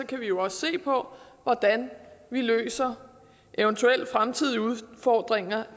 kan vi jo også se på hvordan vi løser eventuelle fremtidige udfordringer